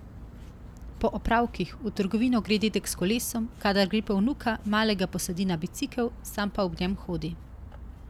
Po opravkih, v trgovino gre dedek s kolesom, kadar gre po vnuka, malega posadi na bicikel, sam pa ob njem hodi.